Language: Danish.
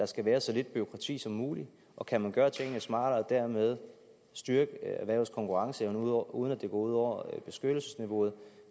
skal være så lidt bureaukrati som muligt og kan man gøre tingene smartere og dermed styrke erhvervets konkurrenceevne uden at det går ud over beskyttelsesniveauet